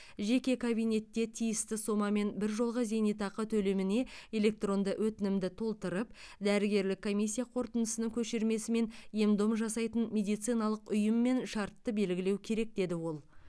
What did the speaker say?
жеке кабинетте тиісті сомамен біржолғы зейнетақы төлеміне электронды өтінімді толтырып дәрігерлік комиссия қорытындысының көшірмесі мен ем дом жасайтын медициналық ұйыммен шартты белгілеу керек деді ол